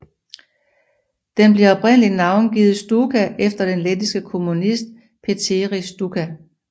Den blev oprindeligt navngivet Stučka efter den lettiske kommunist Pēteris Stučka